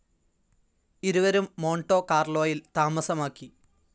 ഇരുവരും മോൺടോ കാർലോയിൽ താമസമാക്കി.